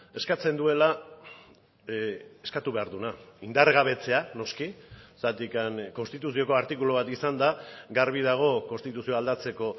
eskatzen duela eskatu behar duena indargabetzea noski zergatik konstituzioko artikulu bat izanda garbi dago konstituzioa aldatzeko